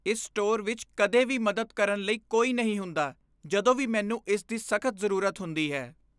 ਇਸ ਸਟੋਰ ਵਿੱਚ ਕਦੇ ਵੀ ਮਦਦ ਕਰਨ ਲਈ ਕੋਈ ਨਹੀਂ ਹੁੰਦਾ ਜਦੋਂ ਵੀ ਮੈਨੂੰ ਇਸ ਦੀ ਸਖ਼ਤ ਜ਼ਰੂਰਤ ਹੁੰਦੀ ਹੈ।